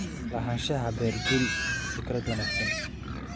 Lahaanshaha beer guri waa fikrad wanaagsan.